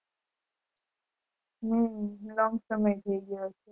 હમ long સમય ત્ય ગયો છે